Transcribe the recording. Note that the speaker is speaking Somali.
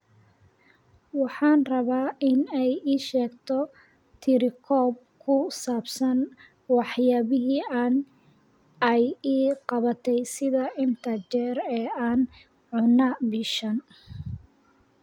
Waxaan rabaa in ay ii sheegto tirokoob ku saabsan waxyaabihii ay ii qabatay sida inta jeer ee aan cunay bishan